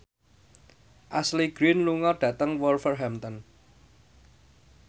Ashley Greene lunga dhateng Wolverhampton